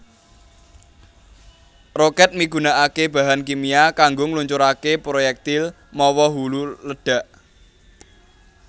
Rokèt migunakaké bahan kimia kanggo ngluncuraké proyektil mawa hulu ledhak